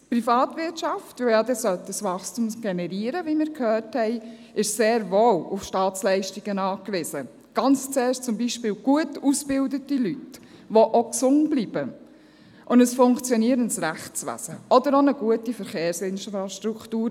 Die Privatwirtschaft, die Wachstum generieren sollte, wie wir gehört haben, ist sehr wohl auf Staatsleistungen angewiesen, zum Beispiel auf gut ausgebildete Leute, die auch gesund bleiben oder auf ein funktionierendes Rechtswesen oder auf eine gute Verkehrsinfrastruktur.